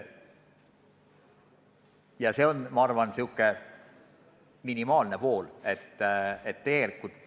Ja see on, ma arvan, selline minimaalne tasand.